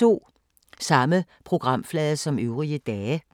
Samme programflade som øvrige dage